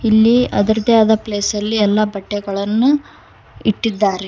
ಇಲ್ಲಿ ಅದರದೇ ಆದ ಪ್ಲೇಸ್ ಅಲ್ಲಿ ಎಲ್ಲಾ ಬಟ್ಟೆಗಳನ್ನು ಇಟ್ಟಿದ್ದಾರೆ.